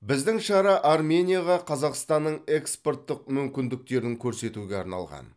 біздің шара арменияға қазақстанның экспорттық мүмкіндіктерін көрсетуге арналған